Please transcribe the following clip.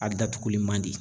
A datuguli man di.